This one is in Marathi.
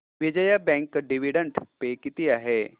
विजया बँक डिविडंड पे किती आहे